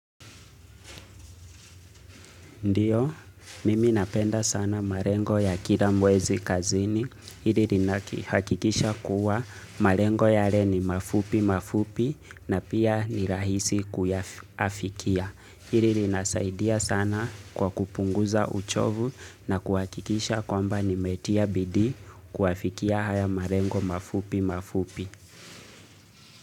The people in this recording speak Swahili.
Ndiyo, mimi napenda sana marengo ya kila mwezi kazini, hiri rina haki hakikisha kuwa marengo yale ni mafupi mafupi na pia ni rahisi kuya afikia. Hili rinasaidia sana kwa kupunguza uchovu na kuhakikisha kwamba nimetia bidii kuafikia haya marengo mafupi mafupi.